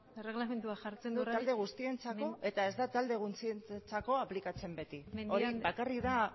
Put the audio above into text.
eta ez da talde guztientzako aplikatzen beti mendia andrea barkatu